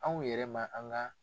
Anw yɛrɛ ma an ka